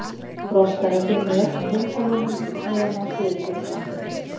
Froska er að finna í öllum heimsálfunum nema á Suðurskautslandinu.